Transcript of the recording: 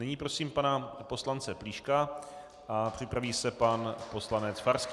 Nyní prosím pana poslance Plíška a připraví se pan poslanec Farský.